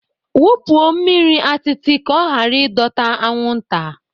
Wupụo mmiri atịtị ka ọ ghara ịdọta anwụnta